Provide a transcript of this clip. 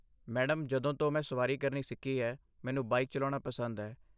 Madam, ਜਦੋਂ ਤੋਂ ਮੈਂ ਸਵਾਰੀ ਕਰਨੀ ਸਿੱਖੀ ਹੈ, ਮੈਨੂੰ ਬਾਈਕ ਚਲਾਉਣਾ ਪਸੰਦ ਹੈ।